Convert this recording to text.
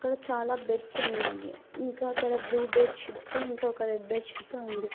చాలా బెడ్స్ ఉన్నాయి ఇంకా అక్కడ బ్లూ బెడ్ షీట్ తో ఇంకొక రెడ్ బెడ్ షీట్ తో ఉంది.